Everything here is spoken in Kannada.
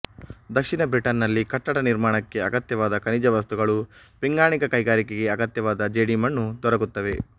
ದಕ್ಷಿಣ ಬ್ರಿಟನ್ನಿನಲ್ಲಿ ಕಟ್ಟಡ ನಿರ್ಮಾಣಕ್ಕೆ ಅಗತ್ಯವಾದ ಖನಿಜವಸ್ತುಗಳೂ ಪಿಂಗಾಣಿ ಕ್ಯೆಗಾರಿಕೆಗೆ ಅಗತ್ಯವಾದ ಜೇಡಿಮಣ್ಣೂ ದೊರಕುತ್ತವೆ